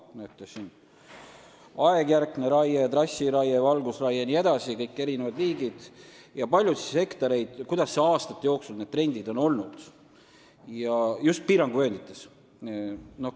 Näete, siin on kõik liigid, aegjärkne raie, trassiraie, valgustusraie jne, ja aastate jooksul just piiranguvööndites ilmnenud trendid.